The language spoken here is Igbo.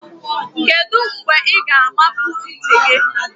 Kedu mgbe ị ga-amapu ntị gị?